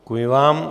Děkuji vám.